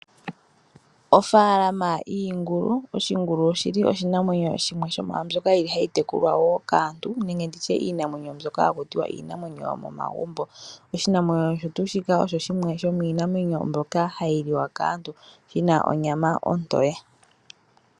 Ofaalama yiingulu. Oshingulu oshili oshinamwenyo shimwe shomwaambyoka yili hayi tekulwa kaantu nenge iinamwenyo mbyono hayi tekulwa hakuti yomomagumbo . Oshinamwenyo shika osho shimwe shomiinamwenyo mbyoka hayi liwa kaantu shina onyama ontoye.